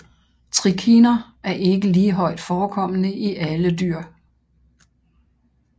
Trikiner er ikke lige højt forekommende i alle dyr